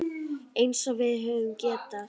Eins og við höfum getað.